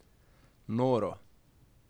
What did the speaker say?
Noro!